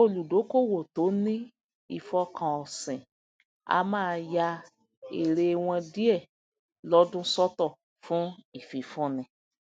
olùdókóòwò tó ní ìfọkànósìn a máa ya èèrè wọn díẹ lódún sọtọ fún ìfifúnni